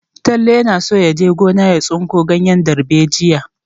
Talle yana so ya je gona ya samo tsinki ganyen darbejiya.